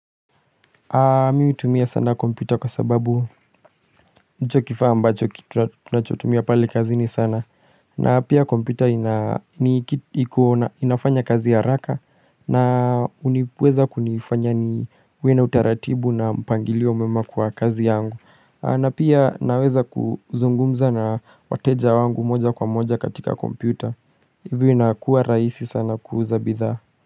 Mimi hutumia sana kompyuta kwa sababu ndicho kifaa ambacho tunachotumia pale kazini sana na pia kompyuta inafanya kazi ya haraka na huniweza kunifanya niwe na utaratibu na mpangilio mwema kwa kazi yangu na pia naweza kuzungumza na wateja wangu moja kwa moja katika kompyuta Hivyo inakuwa rahisi sana kuuza bidhaa.